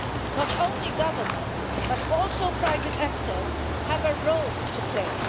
Not only governments but also private actors have a role to play.